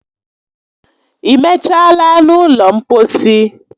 I mechala n'ụlọ mposi?